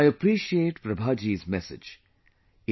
" I appreciate Prabha ji's message